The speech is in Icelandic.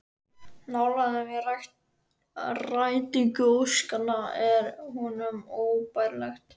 Nálægðin við rætingu óskanna er honum óbærileg